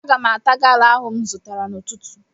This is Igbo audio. Aga m ata gala ahụ m zụtara n'ụtụtụ